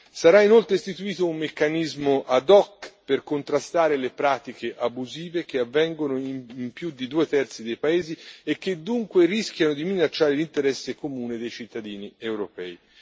Sarà inoltre istituito un meccanismo ad hoc per contrastare le pratiche abusive che avvengono in più di due terzi dei paesi e che dunque rischiano di minacciare l'interesse comune dei cittadini europei.